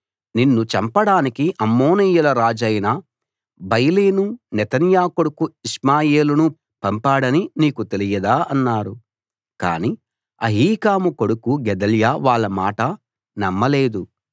నిన్ను చంపడానికి అమ్మోనీయుల రాజైన బయలీను నెతన్యా కొడుకు ఇష్మాయేలును పంపాడని నీకు తెలియదా అన్నారు కాని అహీకాము కొడుకు గెదల్యా వాళ్ళ మాట నమ్మలేదు